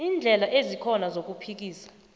iindlela ezikhona zokuphikisa